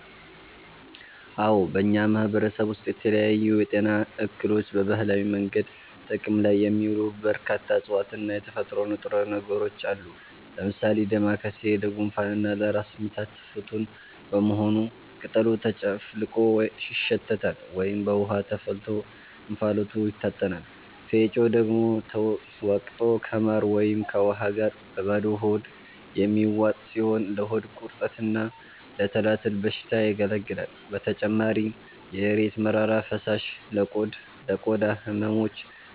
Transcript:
አዎ፣ በእኛ ማህበረሰብ ውስጥ ለተለያዩ የጤና እክሎች በባህላዊ መንገድ ጥቅም ላይ የሚውሉ በርካታ እፅዋትና የተፈጥሮ ንጥረ ነገሮች አሉ። ለምሳሌ ዳማከሴ ለጉንፋንና ለራስ ምታት ፍቱን በመሆኑ ቅጠሉ ተጨፍልቆ ይሸተታል ወይም በውሃ ተፈልቶ እንፋሎቱ ይታጠናል፤ ፌጦ ደግሞ ተወቅጦ ከማር ወይም ከውሃ ጋር በባዶ ሆድ የሚዋጥ ሲሆን ለሆድ ቁርጠትና ለትላትል በሽታ ያገለግላል። በተጨማሪም የእሬት መራራ ፈሳሽ ለቆዳ ህመሞች፣